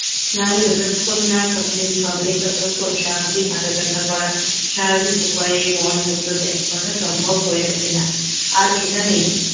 স্নায়ু যতক্ষণ না সতেজ হবে স্বাভাবিক হাঁটাচলা করা স্বাভাবিক উপায়ে মলমূত্রত্যাগ করা সম্ভব হয়ে ওঠেনা আর এখানে